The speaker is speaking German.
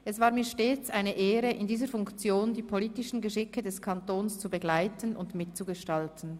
Es war mir stets eine Ehre in dieser Funktion die politischen Geschicke des Kantons zu begleiten und mitzugestalten.